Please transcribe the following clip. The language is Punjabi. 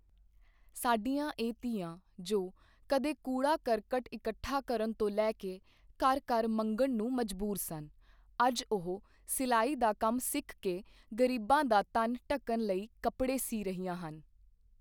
ਸਾਡੀਆਂ ਇਹ ਧੀਆਂ ਜੋ ਕਦੇ ਕੂੜਾ ਕਰਕਟ ਇਕੱਠਾ ਕਰਨ ਤੋਂ ਲੈ ਕੇ ਘਰ ਘਰ ਮੰਗਣ ਨੂੰ ਮਜਬੂਰ ਸਨ ਅੱਜ ਉਹ ਸਿਲਾਈ ਦਾ ਕੰਮ ਸਿੱਖ ਕੇ ਗਰੀਬਾਂ ਦਾ ਤਨ ਢਕਣ ਲਈ ਕੱਪੜੇ ਸੀਅ ਰਹੀਆਂ ਹਨ।